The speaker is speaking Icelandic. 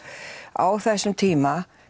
á þessum tíma